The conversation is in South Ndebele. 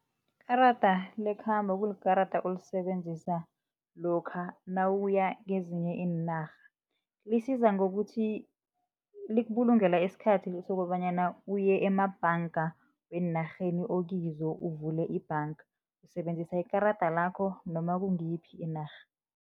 Ikarada lekhambo kulikarada olisebenzisa lokha nawuya kezinye iinarha, lisiza ngokuthi likubulungela isikhathi sokobanyana uye emabhanga weenarheni okizo uvule ibhanga, usebenzisa ikarada lakho noma kungiyiphi inarha.